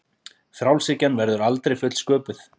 Frjálshyggjan verður aldrei fullsköpuð